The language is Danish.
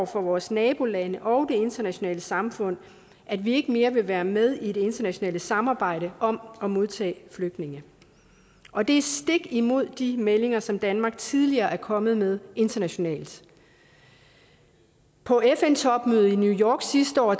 for vores nabolande og det internationale samfund at vi ikke mere vil være med i det internationale samarbejde om at modtage flygtninge og det er stik imod de meldinger som danmark tidligere er kommet med internationalt på fn topmødet i new york sidste år